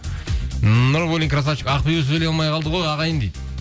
нурбуллин красавчик ақбибі сөйлей алмай қалды ғой ағайын дейді